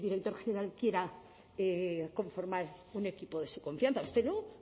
que el director general quiera conformar un equipo de su confianza usted no